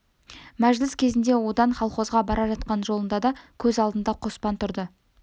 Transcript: мәжіліс кезінде одан колхозға бара жатқан жолында да көз алдында қоспан тұрды